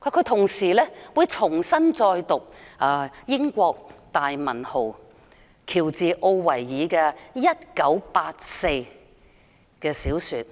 他會重讀英國大文豪喬治.奧威爾的小說《一九八四》。